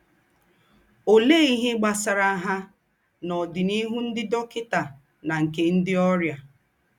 Òléè íhe gbasàrà ha na ọ́dìnìhù ńdị́ dọ́kịtà na nke ńdị́ ọ́rịà?